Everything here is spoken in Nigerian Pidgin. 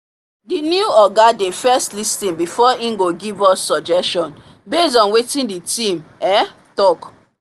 the new oga dey first lis ten before he go give us suggestion based on wetin the team um talk